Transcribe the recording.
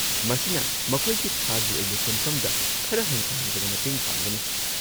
ꯃꯁꯤꯅ ꯃꯈꯣꯏꯒꯤ ꯊꯥꯒꯤ ꯑꯣꯏꯕ ꯁꯦꯟꯐꯝꯗ ꯈꯔ ꯍꯟꯊꯍꯟꯕꯗ ꯃꯇꯦꯡ ꯄꯥꯡꯒꯅꯤ꯫